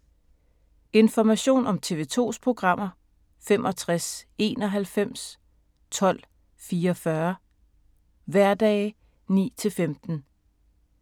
Information om TV 2's programmer: 65 91 12 44, hverdage 9-15.